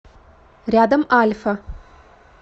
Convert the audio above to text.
рядом альфа